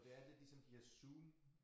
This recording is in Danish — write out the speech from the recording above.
Og det er lidt ligesom de her zoom